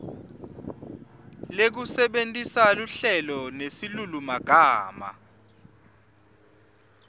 lekusebentisa luhlelo nesilulumagama